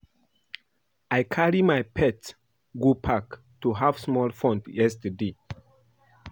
I carry my pet go park to have small fun yesterday